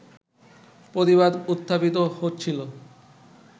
প্রতিবাদ উত্থাপিত হচ্ছিল